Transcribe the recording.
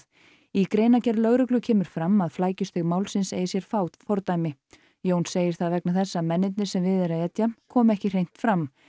í greinargerð lögreglu kemur fram að flækjustig málsins eigi sér fá fordæmi Jón segir það vegna þess að mennirnir sem við er að etja komi ekki hreint fram